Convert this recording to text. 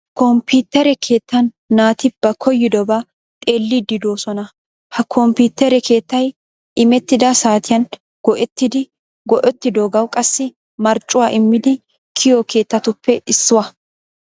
Komppiitere keettan naati ba koyyidobaa xeelliiddi doosona. Ha komppiitere keettay imettida saatiyan go'ettidi go'ettidoogawu qassi marccuwa immidi kiyiyo keettatuppe issuwa.